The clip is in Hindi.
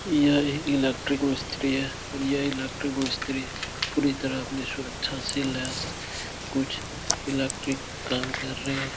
यह एक इलेक्ट्रिक मिस्त्री है और यह मिस्ती पूरी तरह अपनी सुरक्षा से लैस कुछ इलेक्ट्रिक काम कर रहे हैं।